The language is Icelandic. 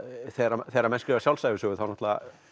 þegar þegar menn skrifa sjálfsævisögu er náttúrulega